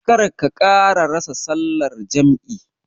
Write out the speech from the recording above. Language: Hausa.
Kar ka ƙara rasa sallar jam'i.